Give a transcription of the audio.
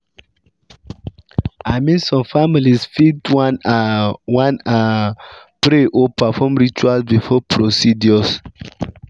i mean some families fit wan ah wan ah pray or perform rituals before procedures.